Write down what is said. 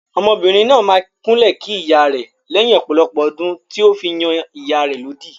Ọmọbìnrin náà máa kúnlẹ̀ kí ìyá rẹ̀ lẹ́yìn ọ̀pọ̀lọpọ̀ ọdún tí ó fi yan ìyá rẹ̀ lódì.